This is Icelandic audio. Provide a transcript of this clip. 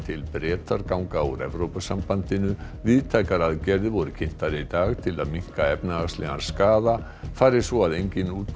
til Bretar ganga úr Evrópusambandinu víðtækar aðgerðir voru kynntar í dag til að minnka efnahagslegan skaða fari svo að enginn